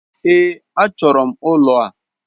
Ee, a chọọrọ m ụlọ a.